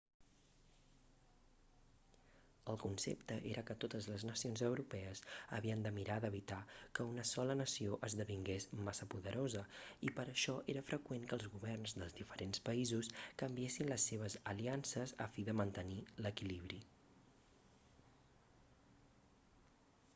el concepte era que totes les nacions europees havien de mirar d'evitar que una sola nació esdevingués massa poderosa i per a això era freqüent que els governs dels diferents països canviessin les seves aliances a fi de mantenir l'equilibri